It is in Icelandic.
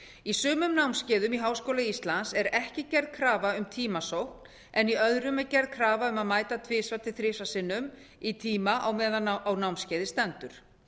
í sumum námskeiðum í háskóla íslands er ekki gerð krafa um tímasókn en í öðrum er gerð krafa um að mæta tvisvar til þrisvar sinnum í tíma meðan á námskeiði stendur